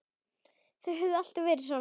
Höfðu þau alltaf verið svona?